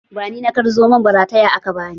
Ba ni na kar Zomon ba, rataya aka bani!